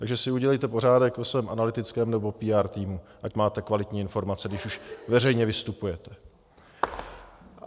Takže si udělejte pořádek ve svém analytickém nebo PR týmu, ať máte kvalitní informace, když už veřejně vystupujete.